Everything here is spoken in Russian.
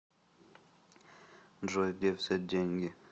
джой где взять деньги